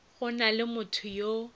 go na le motho yo